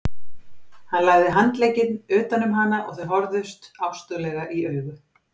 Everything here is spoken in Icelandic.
Hann lagði handlegginn utan um hana og þau horfðust ástúðlega í augu.